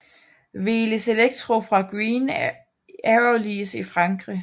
Velis Electro fra Green Aerolease i Frankrig